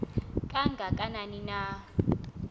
kanga kanani na